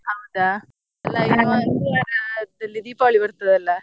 ಹೌದಾ ಎಲ್ಲ ಇನ್ನು ಒಂದು ವಾರದಲ್ಲಿ Deepavali ಬರ್ತದಲ.